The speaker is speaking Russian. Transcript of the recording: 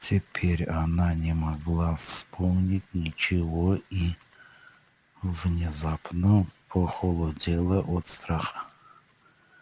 теперь она не могла вспомнить ничего и внезапно похолодела от страха